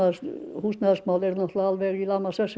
húsnæðismál eru alveg í lamasessi